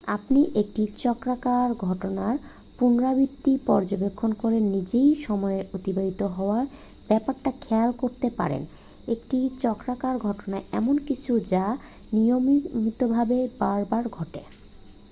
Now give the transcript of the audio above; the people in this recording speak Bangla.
আপনি একটি চক্রাকার ঘটনার পুনরাবৃত্তি পর্যবেক্ষণ করে নিজেই সময়ের অতিবাহিত হওয়ার ব্যাপারটা খেয়াল করতে পারেন একটি চক্রাকার ঘটনা এমন কিছু যা নিয়মিতভাবে বার বার ঘটে